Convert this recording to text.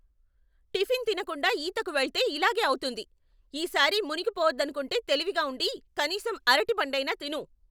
Tiffin తినకుండా ఈతకు వెళ్తే ఇలాగే అవుతుంది. ఈసారి మునిగిపోవద్దనుకుంటే తెలివిగా ఉండి, కనీసం అరటిపండైనా తిను.